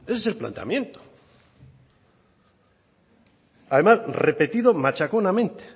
ese es el planteamiento además repetido machaconamente